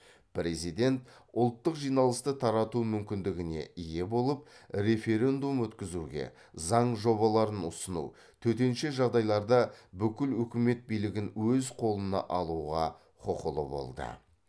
президент ұлттық жиналысты тарату мүмкіндігіне ие болып референдум өткізуге заң жобаларын ұсыну төтенше жағдайларда бүкіл өкімет билігін өз қолына алуға құқылы болды